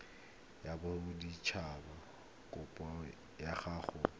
ya botsadikatsho kopo ya go